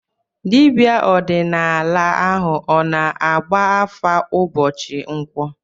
Dibịa ọdịnala ahụ ọ na-agba afa ụbọchị nkwọ?